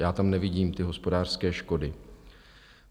Já tam nevidím ty hospodářské škody.